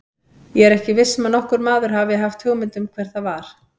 Ég er ekki viss um að nokkur maður hafi hugmynd um hvert það var.